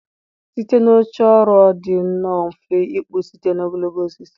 Site na oche ọrụ ọ dị nnọọ mfe ịkpụ site na ogologo osisi